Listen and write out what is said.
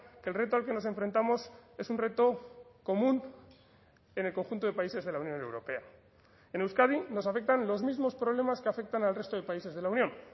que el reto al que nos enfrentamos es un reto común en el conjunto de países de la unión europea en euskadi nos afectan los mismos problemas que afectan al resto de países de la unión